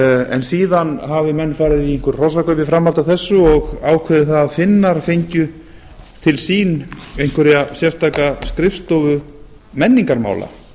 en síðan hafi menn farið í einhver hrossakaup í framhaldi af þessu og ákveðið það að finnar fengju til sín einhverja sérstaka skrifstofu menningarmála